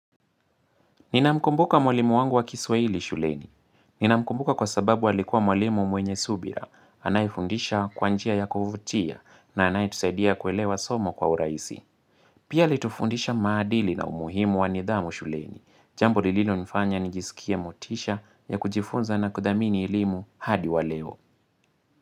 Nina mkumbuka mwalimu wangu wa kiswa hili shuleni. Nina mkumbuka kwa sababu alikua mwalimu mwenye subira. Anayefundisha kwanjia ya kuvutia na anayetusaidia kuelewa somo kwa uraisi. Pia alitufundisha maadili na umuhimu wanidhamu shuleni. Jambo lililo nifanya ni jisikie motisha ya kujifunza na kudhamini elimu hadi waleo.